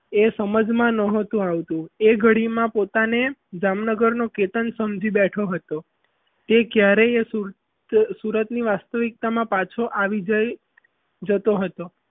એ સમજમાં ન આવતું એ ગાડીમાં પોતાને જામનગરનો કેતન સમજી બેઠો હતો તે ક્યારેય સુરતની વાસ્તવિકતામાં પાછો આવી જાય જતો હતો.